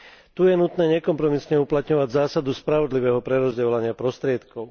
Tu je nutné nekompromisne uplatňovať zásadu spravodlivého prerozdeľovania prostriedkov.